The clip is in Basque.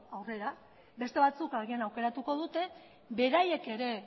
aurrera beste batzuk agian aukeratuko dute beraiek ere